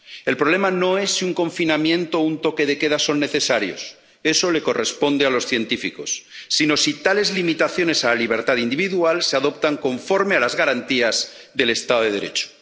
El problema no es si un confinamiento o un toque de queda son necesarios ⸺eso les corresponde a los científicos⸺, sino si tales limitaciones a la libertad individual se adoptan conforme a las garantías del Estado de Derecho.